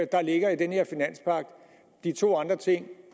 der ligger i den her finanspagt de to andre ting